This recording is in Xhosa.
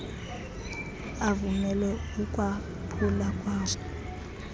avumele ukwaphula kwawo